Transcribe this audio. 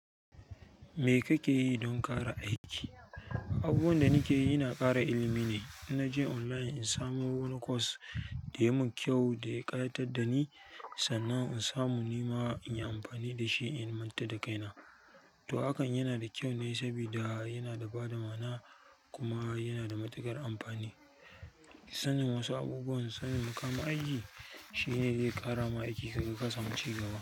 Me kake yi don ƙara aiki? Abubuwan da nake yi ina kara ilimi nai ina je online in samo wani course da yayi min kyau da ya ƙayatar da ni, sannan in samu ni ma in yi amfani da shi in manta da kaina. To hakan yana da kyau ne sabida yana da bada mana, kuma yana da matuƙar amfani. Sanin wasu abubuwan, sanin mu ka ma aiki shine zai ƙara ma aiki ka ga ka samu cigaba.